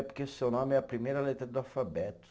É porque o seu nome é a primeira letra do alfabeto.